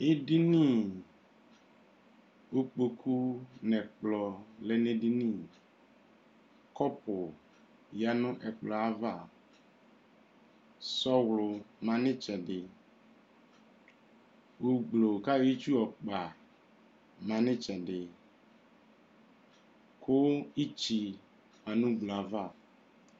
edini ikpoku n'ɛkplɔ lɛ n'edini kɔpu ya no ɛkplɔɛ ava sɔlɔ ma no itsɛdi gbogblo k'ayɔ itsu yɔ kpa ma n'itsɛdi kò itsi ma no ugblo ava.